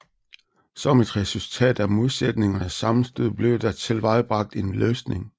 Som et resultat af modsætningernes sammenstød bliver der tilvejebragt en løsning